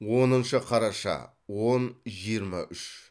оныншы қараша он жиырма үш